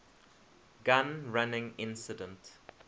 gun running incident